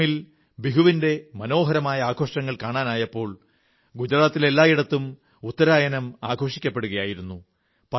അസമിൽ ബിഹുവിന്റെ മനോഹരമായ ആഘോഷങ്ങൾ കാണാനായപ്പോൾ ഗുജറാത്തിൽ എല്ലായിടത്തും ഉത്തരായനം ആഘോഷിക്കപ്പെടുകയായിരുന്നു